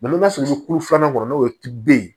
n'i ma sɔrɔ ni tulo filanan kɔnɔ n'o ye tuden ye